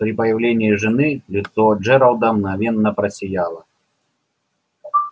при появлении жены лицо джералда мгновенно просияло